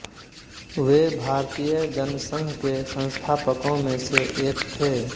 वे भारतीय जनसंघ के संस्थापकों में से एक थे